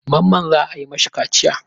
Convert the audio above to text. Mamman za a yi ma mashi kaciya.